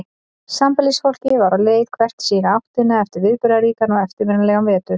Sambýlisfólkið var á leið hvert í sína áttina eftir viðburðaríkan og eftirminnilegan vetur.